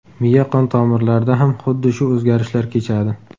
Miya qon tomirlarida ham xuddi shu o‘zgarishlar kechadi.